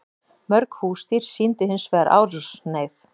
Mörg húsdýr sýndu hins vegar árásarhneigð.